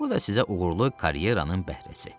Bu da sizə uğurlu karyeranın bəhrəsi.